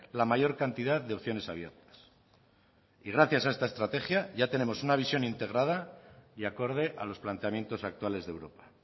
la mayor cantidad de opciones abiertas y gracias a esta estrategia ya tenemos una visión integrada y acorde a los planteamientos actuales de europa